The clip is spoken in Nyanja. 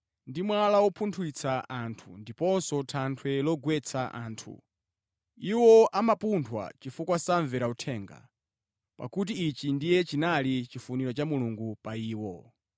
ndi “Mwala wopunthwitsa anthu ndiponso thanthwe limene limagwetsa anthu.” Iwo amapunthwa chifukwa samvera uthenga, pakuti ichi ndiye chinali chifuniro cha Mulungu pa iwo.